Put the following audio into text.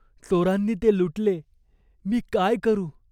चोरांनी ते लुटले. मी काय करू ?